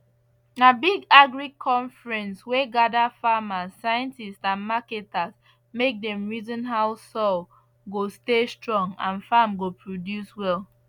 na big agric conference wey gather farmers scientists and marketers make dem reason how soil go stay strong and farm go produce well